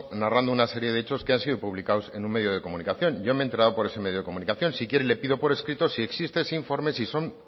narrando una serie de hechos que han sido publicados en un medio de comunicación yo me he enterado por ese medio de comunicación si quiere le pido por escrito si existe ese informe si son